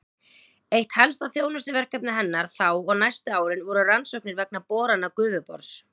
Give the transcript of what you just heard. Eitt helsta þjónustuverkefni hennar þá og næstu árin var rannsóknir vegna borana Gufubors.